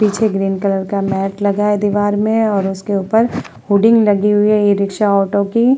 पीछे green colour का map लगा है दीवार में और उसके ऊपर हुडिंग लगी हुई है ई-रिक्शा ऑटो की।